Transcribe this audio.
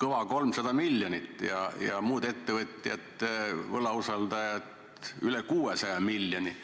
kõva 300 miljonit, muud ettevõtjad, võlausaldajad aga üle 600 miljoni.